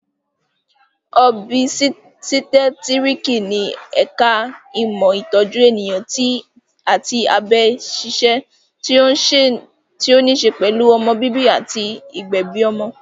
Òbísítẹ́tíriki ni ẹ̀ka ìmọ̀ ìtọ́jú ènìyàn àti abẹ ṣíṣe tí ó ní ṣe pẹ̀lú ọmọ bíbí àti ìgbẹ̀bi ọmọ